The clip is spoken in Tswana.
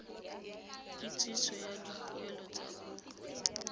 kitsiso ya dipoelo tsa kopo